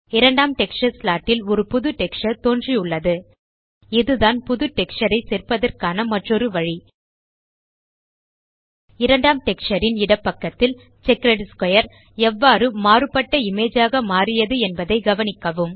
இரண்டாம் texture slot ல் ஒரு புது டெக்ஸ்சர் தோன்றியுள்ளது இதுதான் புது டெக்ஸ்சர் ஐ சேர்ப்பதற்கான மற்றொரு வழி இரண்டாம் டெக்ஸ்சர் ன் இடப்பக்கத்தில் செக்கர்ட் ஸ்க்வேர் எவ்வாறு மாறுபட்ட இமேஜ் ஆக மாறியது என்பதை கவனிக்கவும்